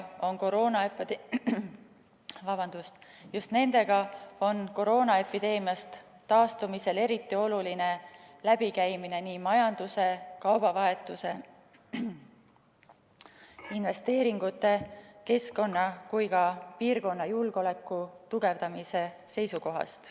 Just nendega on koroonaepideemiast taastumisel eriti oluline läbikäimine nii majanduse, kaubavahetuse, investeeringute, keskkonna kui ka piirkonna julgeoleku tugevdamise seisukohast.